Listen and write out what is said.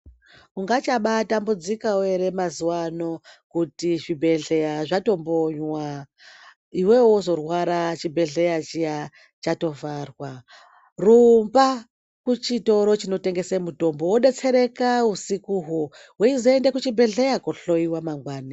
Ungachabatambudzikawo ere mazuwano kuti zvibhehleya zvatombonywa iwewe wozorwara chibhehleya chiya chatovharwa rumba kuchitoro chinotengese mitombo wodetsereka usikuho weizoenda kuchibhedhleya kohloyiwa mangwani.